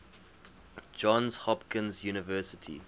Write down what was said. johns hopkins university